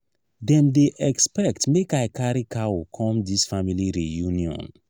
dem dey expect make i carry cow come dis family reunion.